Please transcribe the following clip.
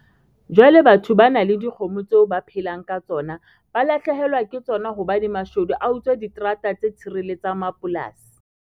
Jwale batho ba nang le dikgomo tseo ba phelang ka tsona ba lahlehelwa ke tsona hobane mashodu a utswa diterata tse tshireletsang mapolasi.